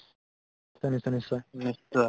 নিশ্চয় নিশ্চয় নিশ্চয়